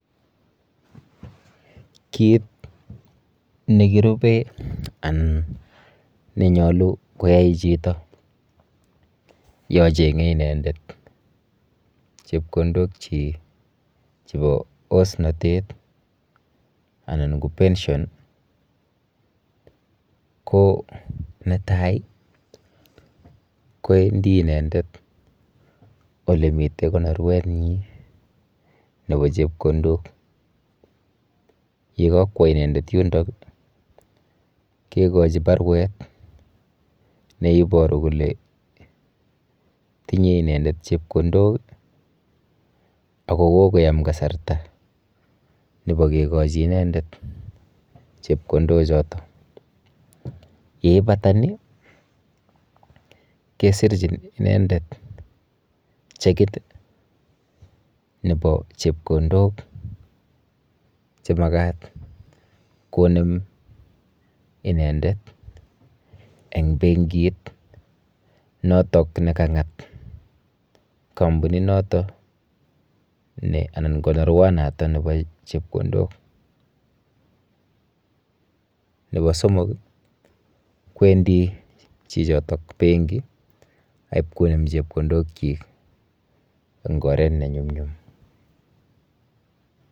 Kit nekiriben anan neyache koyai chito yoon cheng'e inendet chebkondokchik. Chebo osnatet ih. Anan ko pension ko netai ih , koendi inendet olemiten konoruet nyin, nebo chebkondok. Yekakwa inendet yundon ih kikochi barwet neiboru kole tinye inendet chebkondok ako kokoyam kasarta nebo kekachi inendet chebkondok choton. Yeibata ni kesirchin inendet chekit ih nebo chebkondok chemakat konem inendet ih , en bengiit noton nekang'at kampunit noto anan konorwa noto nebo chebkondok. Nebo somok ih kwendi chichoto. Benkit akpokonem rabinik chenyalu.